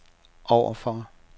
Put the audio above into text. overfor